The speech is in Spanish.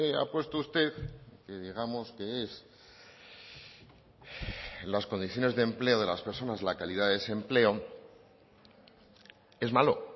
ha puesto usted que digamos que es las condiciones de empleo de las personas la calidad de desempleo es malo